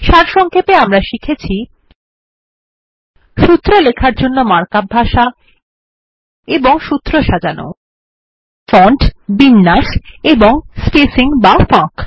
সারসংক্ষেপে আমরা শিখেছি সূত্র লেখার জন্য মার্ক আপ ভাষা এবং সূত্র সাজানো160 ফন্ট বিন্যাস এবং স্পেসিং বা ফাঁক